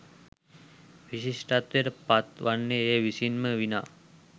විශිෂ්ටත්වයට පත් වන්නේ එය විසින් ම විනා